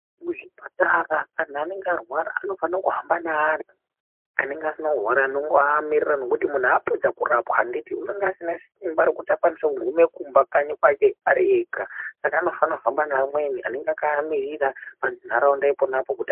Muzvipatara antu anenge arwara anofana kuhamba neanhu anenge asina kurwara anongoamirira nekuti munhu apedza kurapwa anditi unonga aisina simba rekuti akwanise kuguma kumba kanyi kwake ari ega saka unofana kuhamba neamweni anenge akamirira panharaunda ipona apo kuti ...